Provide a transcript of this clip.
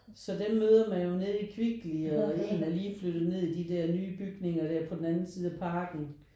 Så dem møder man jo nede i Kvickly og en er lige flyttet ned i de der nye bygninger der på den anden side af parken